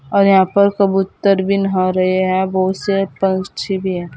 और यहां पर कबूतर भी नहा रहे हैं बहुत से पक्षी भी है।